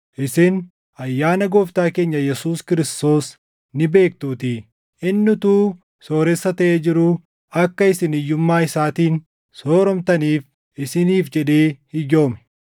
Isin ayyaana Gooftaa keenya Yesuus Kiristoos ni beektuutii; inni utuu sooressa taʼee jiruu akka isin hiyyummaa isaatiin sooromtaniif isiniif jedhee hiyyoome.